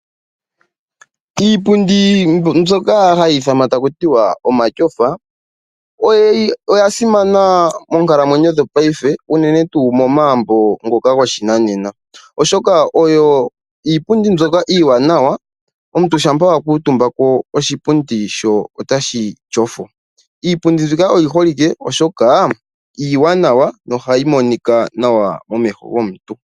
Iipundi mbyoka hayi ithanwa taku tiwa omatyofa oya simana moonkalamwenyo dhopaife unene tuu momagumbo ngoka goshinanena, oshoka oyo iipundi mbyoka iiwanawa, omuntu shampa wa kuutumbako oshipundi sho otashi tyofo. Iipundi mbika oyi holike, oshoka iiwanawa nohayi monika nawa momeho gomuntu.